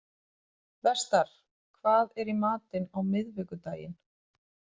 Vestar, hvað er í matinn á miðvikudaginn?